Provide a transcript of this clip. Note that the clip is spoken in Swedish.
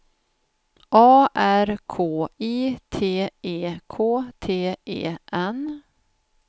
A R K I T E K T E N